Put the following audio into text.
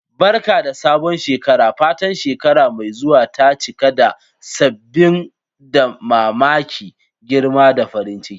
Barka da sabon shekara! Fatan shekara mai zuwa ta cika da sabbin damammaki, girma, da farin ciki.